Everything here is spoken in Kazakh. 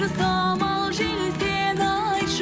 самал жел сен айтшы